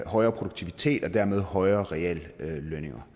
højere produktivitet og dermed højere reallønninger